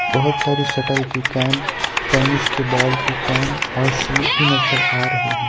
बहुत सारी शटल की कैन टेनिस के बाल की कैन और शूज भी नजर आ रहे हैं।